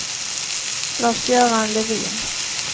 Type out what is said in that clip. Lars-Göran Levin